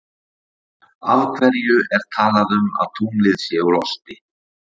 Af hverju er talað um að tunglið sé úr osti?